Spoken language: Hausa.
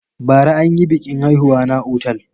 Bara an yi biƙin haihuwa na otal.